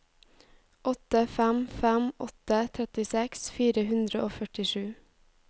åtte fem fem åtte trettiseks fire hundre og førtisju